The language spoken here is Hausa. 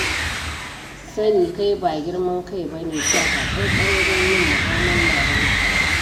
Sani kai ba girman kai ba ne, taka tsantsan wajen yin mu'amulla da mutane.